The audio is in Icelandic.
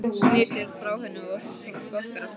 Snýr sér frá henni og skokkar af stað.